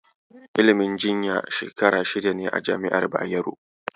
Ilimin jinya Shekara shida ne a jami'ar Bayero.